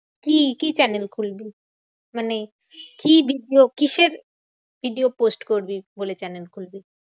তুই কি channel খুলবি? মানে কি video? কিসের video post করবি বলে channel খুলবি?